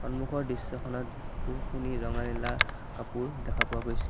সন্মুখৰ দৃশ্যখনত বহুখিনি ৰঙা নীলা কাপোৰ দেখা পোৱা গৈছে।